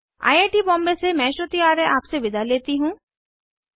I I T Bombay से मैं श्रुति आर्य अब आपसे विदा लेती हूँ